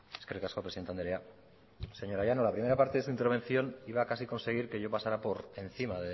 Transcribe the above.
eskerrik asko presidente andrea señora llanos la primera parte de su intervención iba casi a conseguir que yo pasara por encima